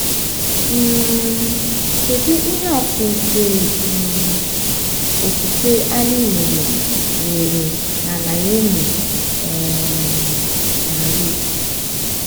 um Kedu ihe atụ nke um okwukwe anyị nwere nwere na Naomi um na Ruth?